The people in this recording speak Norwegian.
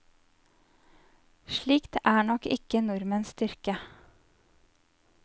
Slikt er nok ikke nordmenns styrke.